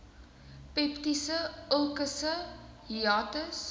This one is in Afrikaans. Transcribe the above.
peptiese ulkusse hiatus